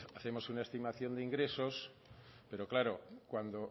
hacemos una estimación de ingresos pero claro cuando